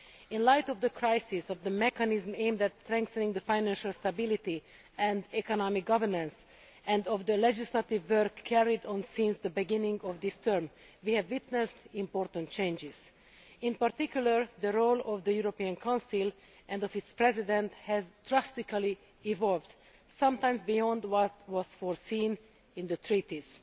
In the light of the crisis in the mechanism aimed at strengthening financial stability and economic governance, and of the legislative work carried on since the beginning of this term, we have witnessed important changes. In particular, the role of the European Council and of its President has drastically evolved, sometimes beyond what was foreseen in the Treaties.